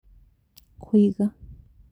Kũiga